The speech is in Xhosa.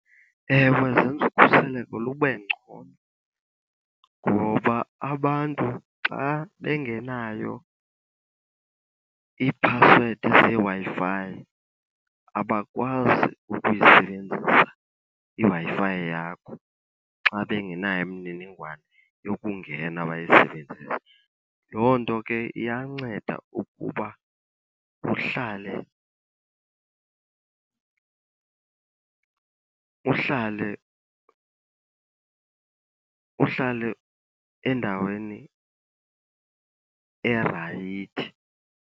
Ewe, zenza ukhuseleko lube ngcono ngoba abantu xa bengenayo iiphasiwedi zeWi-Fi abakwazi ukuyisebenzisa iWi-Fi yakho, xa bengenayo imininingwane yokungena bayisebenzise. Loo nto ke iyanceda ukuba uhlale, uhlale, uhlale endaweni erayithi.